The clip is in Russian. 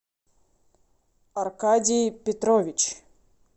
аркадий петрович